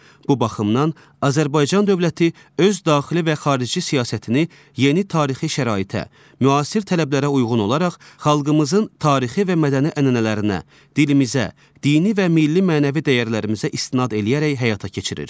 Bu baxımdan Azərbaycan dövləti öz daxili və xarici siyasətini yeni tarixi şəraitə, müasir tələblərə uyğun olaraq xalqımızın tarixi və mədəni ənənələrinə, dilimizə, dini və milli mənəvi dəyərlərimizə istinad eləyərək həyata keçirir.